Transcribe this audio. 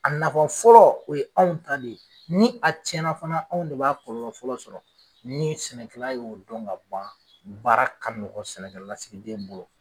A nafa fɔlɔ o ye anw ta de ye, ni a cɛnna fana anw de b'a kɔlɔlɔ fɔlɔ sɔrɔ, ni sɛnɛkɛla y'o don ka ban, baara ka nɔgɔn sɛnɛkɛlasigi den bolo.